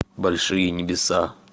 большие небеса